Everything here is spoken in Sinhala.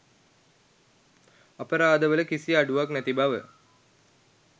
අපරාධවල කිසි අඩුවක් නැති බව